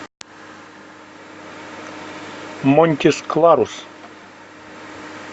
монтис кларус